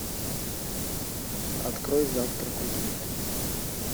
открой завтрак у тиффани